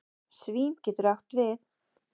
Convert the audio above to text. Svín getur átt við